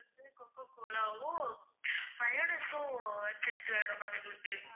cococola வும் mayonnaise உம் சேத்து வேணும் ma'am எங்களுக்கு